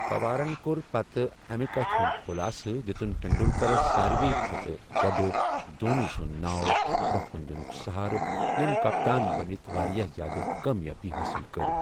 پوارن کوٚر پتہٕ امہٕ کتھہٕ ہُنٛد خُلاصہٕ، دِتُن تنڈولکرس ساری کھوتہٕ گوٚڑٕ دھونی سُنٛد ناو برونہہ کُن دِنُک سہارٕ، یٔمۍ کپتان بٔنتھ واریاہ زیادٕ کامیٲبی حٲصِل کٔر۔